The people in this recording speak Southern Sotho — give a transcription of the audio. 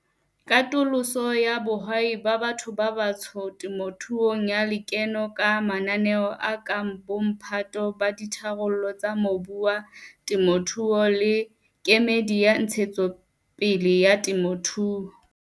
katoloso ya bohwai ba batho ba batsho temothuong ya lekeno ka mananeo a kang Bomphato ba Ditharollo tsa Mobu wa Temothuo le Kemedi ya Ntshetsopele ya Temothuo.